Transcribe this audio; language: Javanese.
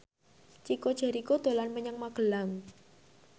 Chico Jericho dolan menyang Magelang